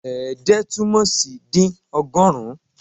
Ẹ̀ẹ́dẹ́ túmọ̀ sí dín ọgọ́rùn-ún